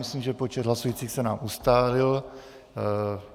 Myslím, že počet hlasujících se nám ustálil.